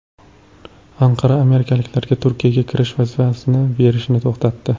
Anqara amerikaliklarga Turkiyaga kirish vizasini berishni to‘xtatdi.